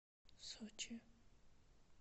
сочи